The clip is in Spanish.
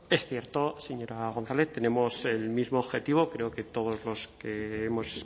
es cierto señora gonzález tenemos el mismo objetivo creo que todos los que hemos